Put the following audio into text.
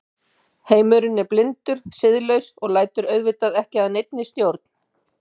Heimurinn er blindur, siðlaus og lætur auðvitað ekki að neinni stjórn.